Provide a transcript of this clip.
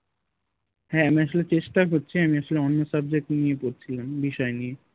হ্যাঁ আমি আসলে চেষ্টা করছি আমি আসলে অন্য subject নিয়ে পড়ছিলাম বিষয় নিয়ে